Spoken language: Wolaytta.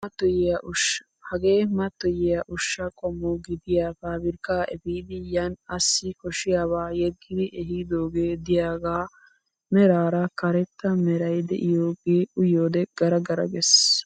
Hagee mattoyiyaa ushshaa qommo gidiyaa pabirkkaa epiidi yaani assi koshshiyaaba yeggidi ehiidogee diyaagaa meraara karetta meray de'iyoogee uyiyoode gara gara ges!